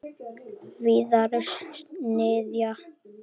Víðars niðja.